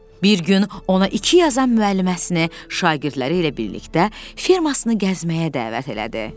Bir gün ona iki yazan müəlliməsini şagirdləri ilə birlikdə firmasını gəzməyə dəvət elədi.